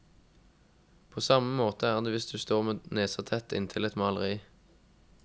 På samme måte er det hvis du står med nesa tett inntil et maleri.